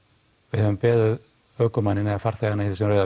við höfum beðið ökumanninn eða farþegann í þessum rauða